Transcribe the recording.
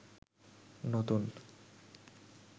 নতুন